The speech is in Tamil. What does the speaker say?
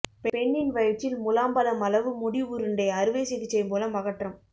பெண்ணின் வயிற்றில் முலாம்பழம் அளவு முடி உருண்டை அறுவை சிகிச்சை மூலம் அகற்றம்